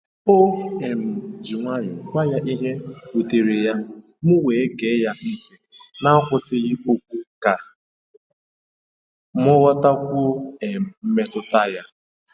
O um ji nwayọọ gwa ya ihe wutere ya, m wee gee ya ntị n’akwụsịghị okwu ka m ghọtakwuo um mmetụta ya.